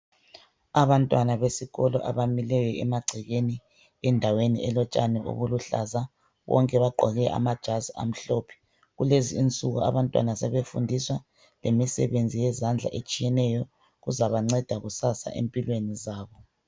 Abantwana besikolo. abamileyo emagcekeni endaweni elotshani obuluhlaza. Bonke bagqoke amajazi amhlophe. Kulezinsuku abantwana sebefundiswa imisebenzi yezandla etshiyeneyo ezabanceda kusasa empilweni zabo.